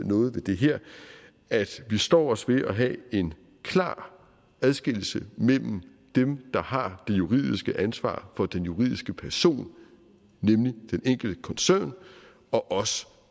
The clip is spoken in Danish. noget ved det her at vi står os ved at have en klar adskillelse mellem dem der har det juridiske ansvar for den juridiske person nemlig den enkelte koncern og os